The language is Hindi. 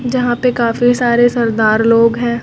यहां पे काफी सारे सरदार लोग है।